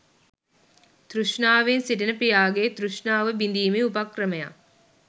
තෘෂ්ණාවෙන් සිටින පියාගේ තෘෂ්ණාව බිඳීමේ උපක්‍රමයක්